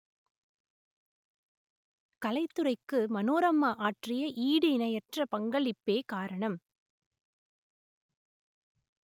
கலைத் துறைக்கு மனோரமா ஆற்றிய ஈடு இணையற்ற பங்களிப்பே காரணம்